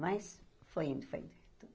Mas foi indo, foi indo.